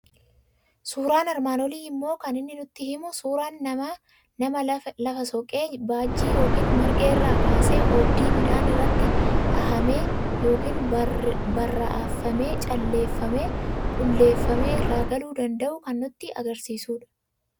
Suuraan armaan olii immoo kan inni nutti himu, suuraa nama lafa soqee, bajjii yookiin marga irraa kaasee oobdii midhaan irratti dhahamee yookiin baraa'effamee calleeffamee, qulleeffamee irraa galuu danda'u kan nutti argisiisudha.